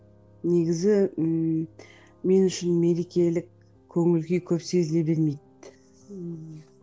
негізі ммм мен үшін мерекелік көңіл күй көп сезіле бермейді ііі